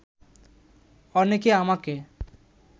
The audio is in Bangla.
অনেকে আমাকে